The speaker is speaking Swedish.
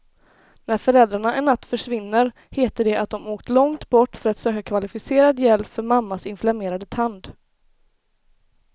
När föräldrarna en natt försvinner heter det att de har åkt långt bort för att söka kvalificerad hjälp för mammas inflammerade tand.